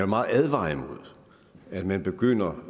meget advare imod at man begynder